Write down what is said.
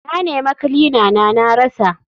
Na nema kilina na na rasa.